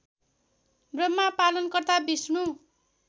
ब्रह्मा पालनकर्ता विष्णु